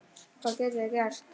Hvað getum við gert?